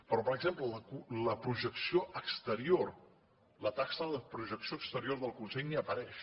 però per exemple la projecció exterior la taxa de projecció exterior del consell ni hi apareix